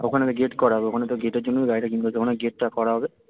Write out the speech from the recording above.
ওখানে তো gate করা হবে ওখানে তো gate এর জন্যই গাড়িটা ওখানে gate টা করা হবে